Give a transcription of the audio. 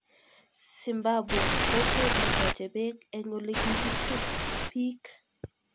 Zimbabwe: Kokwet netoche bek eng olikikitub biik.